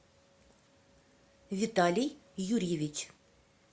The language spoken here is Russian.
виталий юрьевич